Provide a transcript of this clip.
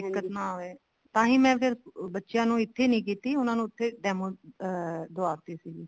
ਦਿੱਕਤ ਨਾ ਹੋਵੇ ਤਾਂਹੀ ਮੈਂ ਫ਼ੇਰ ਬੱਚਿਆਂ ਨੂੰ ਇੱਥੇ ਨੀ ਕੀਤੀ ਉਹਨਾ ਨੂੰ ਉੱਥੇ demo ਅਮ ਦਵਾਤੀ ਸੀਗੀ